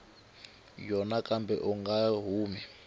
yona kambe u nga humi